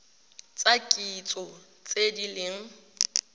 tsa kitso tse di leng